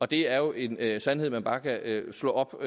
det er jo en en sandhed man bare kan slå op